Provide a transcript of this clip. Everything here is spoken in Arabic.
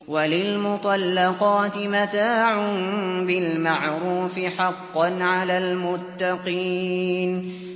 وَلِلْمُطَلَّقَاتِ مَتَاعٌ بِالْمَعْرُوفِ ۖ حَقًّا عَلَى الْمُتَّقِينَ